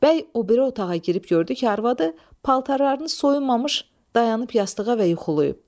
Bəy o biri otağa girib gördü ki, arvadı paltarlarını soyunmamış dayanıb yastığa və yuxulayıb.